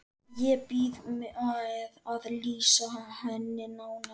Ég bíð með að lýsa henni nánar.